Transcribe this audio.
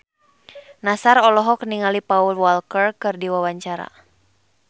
Nassar olohok ningali Paul Walker keur diwawancara